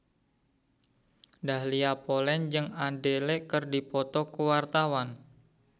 Dahlia Poland jeung Adele keur dipoto ku wartawan